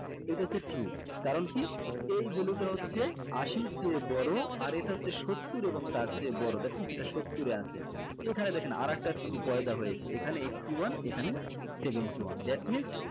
এটা হচ্ছে true কারণ কি এই value টা হচ্ছে আশির চেয়ে বড়ো আর এটা হচ্ছে সত্তর এবং তার চেয়ে বড় that means এটা সত্তর এ আছে এখানে দেখেন আরেকটা true পয়দা হয়েছে এখানে eighty one এখানে seventy one that means